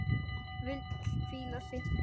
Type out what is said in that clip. Vill hvíla sig.